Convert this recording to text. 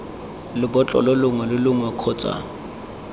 lebotlolo longwe lo longwe kgotsa